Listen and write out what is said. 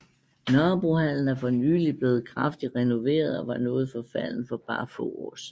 Nørrebrohallen er for nylig blevet kraftigt renoveret og var noget forfalden for bare få år siden